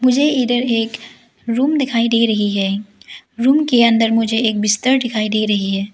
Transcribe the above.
मुझे इधर एक रूम दिखाई दे रही है रूम के अंदर मुझे एक बिस्तर दिखाई दे रही है।